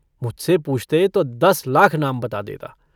मुझसे पूछते तो दस लाख नाम बता देता।